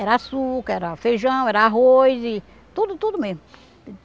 Era açúcar, era feijão, era arroz, tudo, tudo mesmo.